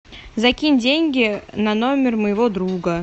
закинь деньги на номер моего друга